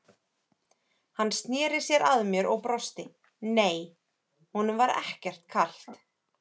Hann sneri sér að mér og brosti, nei, honum var ekkert kalt.